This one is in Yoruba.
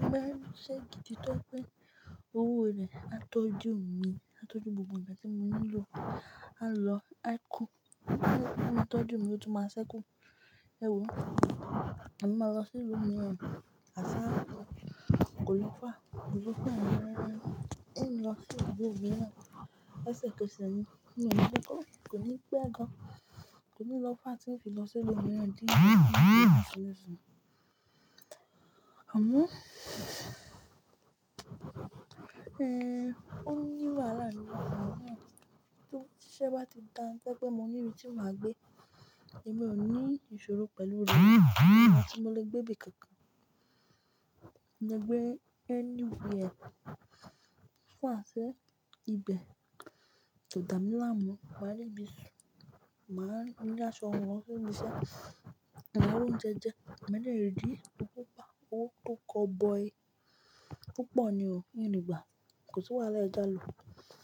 Mo bá rí ṣe gidi tó pé owó rẹ̀ á tọ́jú mi, á tọ́jú gbogbo ǹjẹ́ tí mo nílò, á lọ, á kú. Ó tọ́jú mi, ó tún máa ṣẹ́kù. Èwo, èmi máa lọ sí ìlú mìíràn. Àṣá kò ló fàá, kò ló fàá. Ìlú mìíràn, ń lọ sí ìlú mìíràn, ó leṣẹ̀ kẹsẹ̀ ni. Mi ò ní gbọ́kọ̀, kò ní pẹ́ dán. Kí ni ló fà á tí ń fi lọ sí ìlú mìíràn? Àmọ́, ẹ́, ó ní wàhálà ní ibì kan tí ṣe bá ti da to je pé mo ní ibi tí màá gbé, èmi ò ní ìṣòro pẹ̀lú rẹ̀ kí àti mo lè gbé ibi kankan. Mo lè gbé ẹ́ nìbí ẹ. Fún àṣẹ ìgbẹ́, tòdà mí là ńmú, wà á le gbé ìṣù. Màá ri ṣé wọn lọ sí ibi iṣẹ́, mà á ri oúnjẹ jẹ. Ẹ̀minú rẹ dì, ó kópa. Ó tó kọ́ ọ boy. Púpọ̀ ni o, òní ìgbà. Kò sí wàhálẹ̀ ẹ já lò.